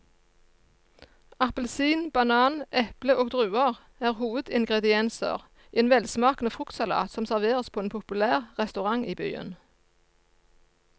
Appelsin, banan, eple og druer er hovedingredienser i en velsmakende fruktsalat som serveres på en populær restaurant i byen.